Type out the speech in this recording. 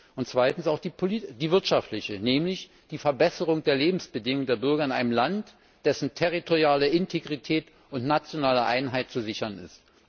Und zweitens auch die wirtschaftliche, nämlich die Verbesserung der Lebensbedingungen der Bürger in einem Land, dessen territoriale Integrität und nationale Einheit zu sichern ist.